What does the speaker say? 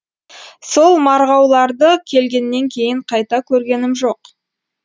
сол марғауларды келгеннен кейін қайта көргенім жоқ